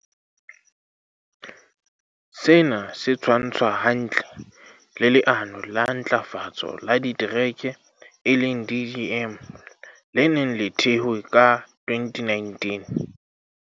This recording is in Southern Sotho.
Sena se tshwantshwa hantle le Le ano la Ntlafatso ya Ditereke, DDM, le neng le thehwe ka 2019.